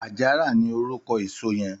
Àjárà ni órúkò ésó yèn